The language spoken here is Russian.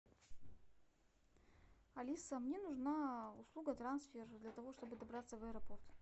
алиса мне нужна услуга трансфер для того чтобы добраться в аэропорт